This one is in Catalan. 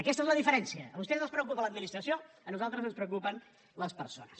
aquesta és la diferència a vostès els preocupa l’administració a nosaltres ens preocupen les persones